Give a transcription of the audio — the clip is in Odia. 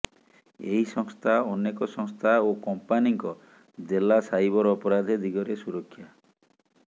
ଏହି ସଂସ୍ଥା ଅନେକ ସଂସ୍ଥା ଓ କଂପାନୀଙ୍କ ଦେଲା ସାଇବର ଅପରାଧ ଦିଗରେ ସୁରକ୍ଷା